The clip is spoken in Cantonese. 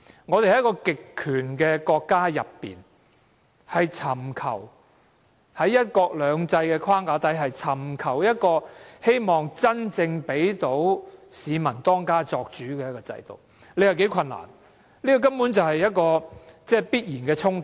我們在一個極權國家內，在"一國兩制"的框架下，要尋求真正讓市民當家作主的制度，你說多困難，這根本是必然的衝突。